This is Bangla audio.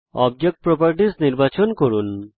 অবজেক্ট প্রপার্টিস নির্বাচন করুন